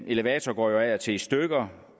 elevatorer går jo af og til i stykker